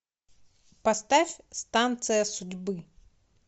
поставь станция судьбы